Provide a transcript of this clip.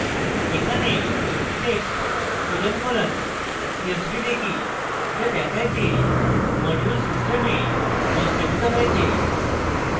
এখানে text colon colon csv দেখি যা দেখায় যে module system সংস্থাপিত হয়েছে